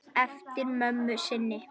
Eftir mömmu sinni.